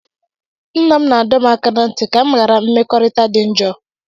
Nna m na-adọ m aka ná ntị ka m ghara mmekọrịta dị njọ́.